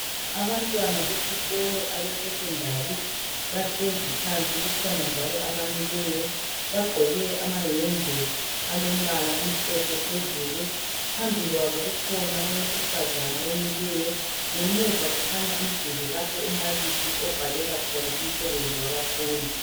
Abantwana besikolo abe secondary bahlezi phansi kukhona njalo abamileyo bagqoke amayembe alombala omhlophe phezulu, phambi kwabo kukhona owesifazana omileyo ngemuva kukhanya umduli lapho umbalisi obhalela khona umsebenzi wabafundi.